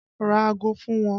Ra ago fún wọn!